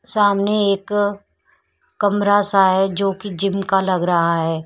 सामने एक कमरा सा है जो कि जिम का लग रहा है।